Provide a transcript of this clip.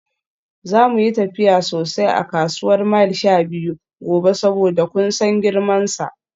Za mu yi tafiya sosai a kasuwar Mile 12 gobe saboda kun san girmansa.